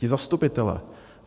Ti zastupitelé.